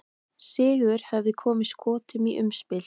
Sigur hefði komið Skotum í umspil.